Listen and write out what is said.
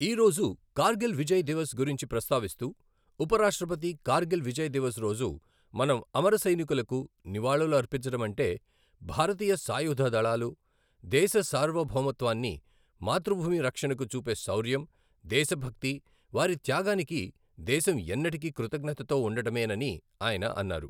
ఈరోజు కార్గిల్ విజయ దివస్ గురించి ప్రస్తావిస్తూ ఉపరాష్ట్రపతి కార్గిల్ విజయ్ దివస్ రోజు మనం అమర సైనికులకు నివాళులర్పించడమంటే, భారతీయ సాయుధ దళాలు దేశ సార్వభౌమత్వాన్ని, మాతృభూమి రక్షణకు చూపే శౌర్యం, దేశభక్తి, వారి త్యాగానికి దేశం ఎన్నటికీ కృతజ్ఞతతో ఉండడమే నని ఆయన అన్నారు.